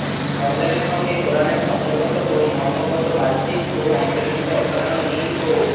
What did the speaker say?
রমজানের সঙ্গে কোরআনের শব্দগত ও মর্মগত বাহ্যিক ও অন্তর্নিহিত অসাধারণ মিল ও